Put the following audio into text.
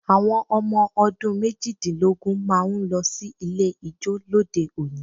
Àwọn ọmọ ọdún méjìdínlógún máa ń lọ sí ilé ijó lóde òní